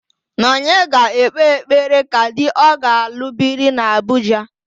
Nọnye ga-ekpe ekpere ka di ọ ga-alụ biri n'Abuja.